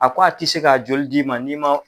A ko a tɛ se k'a joli d'i ma ni